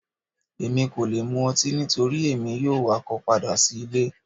Emi ko le mú ọtí nitori emi yoo wakọ pada si ile